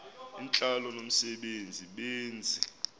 intlalo nomse benzi